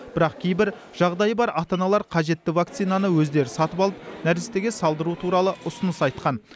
бірақ кейбір жағдайы бар ата аналар қажетті вакцинаны өздері сатып алып нәрестеге салдыру туралы ұсыныс айтқан